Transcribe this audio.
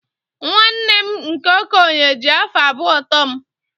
nwanne m nke okenye ji afọ abụọ too m